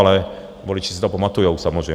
Ale voliči si to pamatujou, samozřejmě.